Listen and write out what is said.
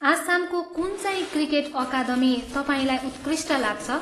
आसामको कुनचाहिँ cricket academy तपाईँलाई उत्कृष्ट लाग्छ?